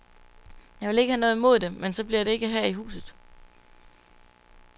Jeg ville ikke havde noget imod det, men så bliver det ikke her i huset.